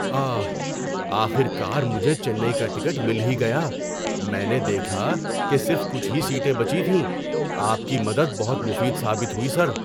آہ! آخر کار مجھے چنئی کا ٹکٹ مل ہی گیا۔ میں نے دیکھا کہ صرف کچھ ہی سیٹیں بچی تھیں۔ آپ کی مدد بہت مفید ثابت ہوئی، سر۔